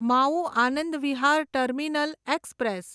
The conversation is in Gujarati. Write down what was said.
Mau Anand Vihar terminal express